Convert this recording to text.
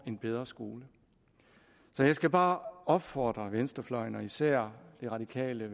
en bedre skole så jeg skal bare opfordre venstrefløjen og især de radikale og